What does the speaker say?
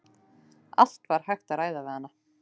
Allt var hægt að ræða við hana.